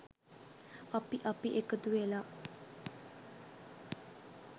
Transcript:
අපි අපි එකතුවෙලා.